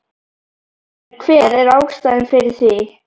En hver er ástæðan fyrir því?